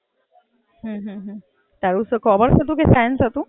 અચ્છા, હાં, હાં, હાં. તારું તો કોમર્સ હતું કે સાઇન્સ હતું?